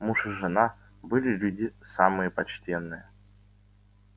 муж и жена были люди самые почтенные